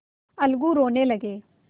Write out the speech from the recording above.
अलगू रोने लगे